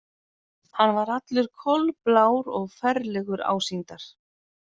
Hann var allur kolblár og ferlegur ásýndar.